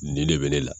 Nin de bɛ ne la